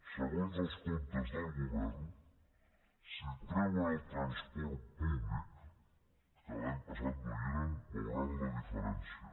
segons els comptes del govern si treuen el transport públic que l’any passat no hi era veuran la diferència